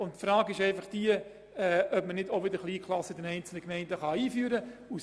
Es stellt sich die Frage, ob man die Kleinklassen nicht in einzelnen Gemeinden wieder einführen kann.